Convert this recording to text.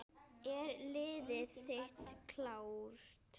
Er liðið þitt klárt?